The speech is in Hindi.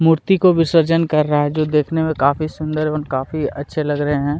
मूर्ति को विसर्जन कर रहा है जो देखने में काफी सुंदर एवं काफी अच्छे लग रहे है।